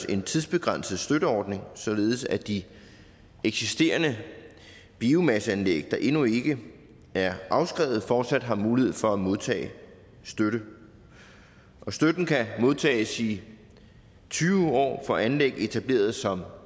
en tidsbegrænset støtteordning således at de eksisterende biomasseanlæg der endnu ikke er afskrevet fortsat har mulighed for at modtage støtte støtten kan modtages i tyve år for anlæg etableret som